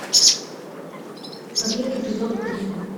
побег эпизод три